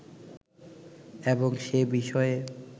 এবং সে বিষয়ে